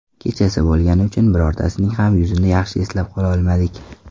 Kechasi bo‘lgani uchun birortasining ham yuzini yaxshi eslab qololmadik.